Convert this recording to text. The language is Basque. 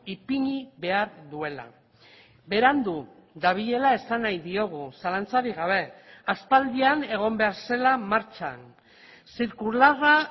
ipini behar duela berandu dabilela esan nahi diogu zalantzarik gabe aspaldian egon behar zela martxan zirkularra